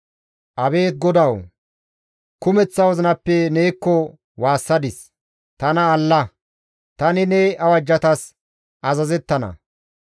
Abeet GODAWU! Tani Kumeththa wozinappe neekko waassadis; tana alla. Tani ne awajjatas azazettana.